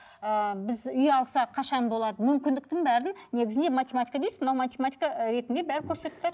ыыы біз үй алса қашан болады мүмкіндіктің бәрін негізінде математика дейсіз мынау математика ретінде бәрін көрсетіп тұр